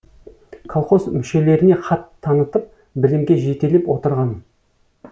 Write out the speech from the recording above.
колхоз мүшелеріне хат танытып білімге жетелеп отырған